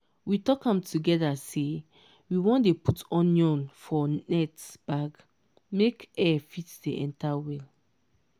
we talk am together say we wan dey put onion for net bag make air fit dey enter well.